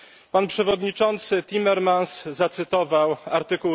Pan Przewodniczący Timmermans zacytował art.